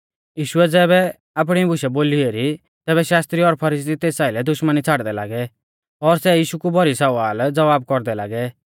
यीशुऐ ज़ैबै आपणी बुशै बोली एरी तैबै शास्त्री और फरीसी तेस आइलै दुश्मनी छ़ाड़दै लागै और सै यीशु कु भौरी सवालज़वाब कौरदै लागै